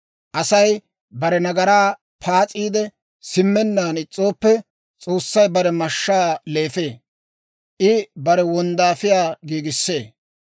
Asay bare nagaraa paas'iide simmennaan is's'ooppe, S'oossay bare mashshaa leefee; I bare wonddaafiyaa giigissee.